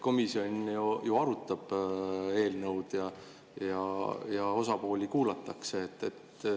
Komisjon arutab eelnõu ja osapooli kuulatakse.